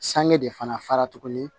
Sange de fana fara tuguni